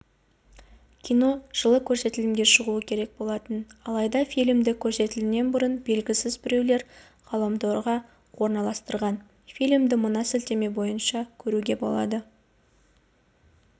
кино жылы көрсетілімге шығуы керек болатын алайда фильмді көрсетілімнен бұрын белгісіз біреулер ғаламторға орналастырған фильмды мына сілтеме бойынша көруге болады